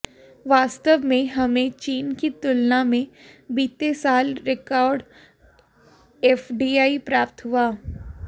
वास्तव में हमें चीन की तुलना में बीते साल रिकार्ड एफडीआई प्राप्त हुआ